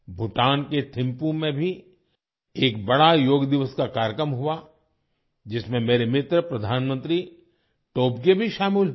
भूटान के थिंपू में भी एक बड़ा योग दिवस का कार्यक्रम हुआ जिसमें मेरे मित्र प्रधानमंत्री टोबगे भी शामिल हुए